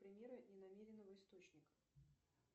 примеры ненамеренного источника